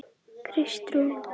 Kristrún